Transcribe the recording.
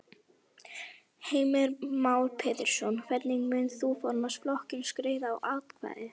Heimir Már Pétursson: Hvernig munt þú formaður flokksins greiða atkvæði?